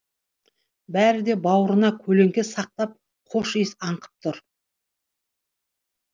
бәрі де бауырына көлеңке сақтап хош иіс аңқып тұр